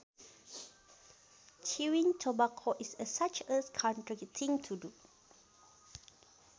Chewing tobacco is a such a country thing to do